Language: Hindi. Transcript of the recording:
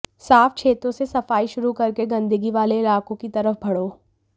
साफ क्षेत्रों से सफाई शुरू करके गन्दगी वाले इलाकों की तरफ बढ़ो